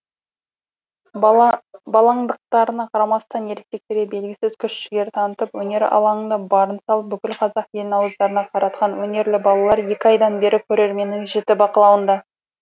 балаңдықтарына қарамастан ересектерге бергісіз күш жігер танытып өнер алаңында барын салып бүкіл қазақ елін ауыздарына қаратқан өнерлі балалар екі айдан бері көрерменнің жіті бақылауында